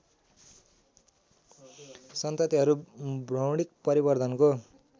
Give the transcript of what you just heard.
सन्ततिहरू भ्रौणिक परिवर्धनको